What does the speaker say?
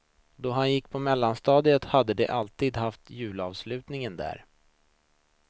Då han gick på mellanstadiet hade de alltid haft julavslutningen där.